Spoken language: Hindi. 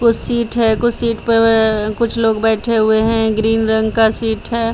कुछ सीट है कुछ सीट पवा कुछ लोग बैठे हुए हैं ग्रीन रंग का सीट है।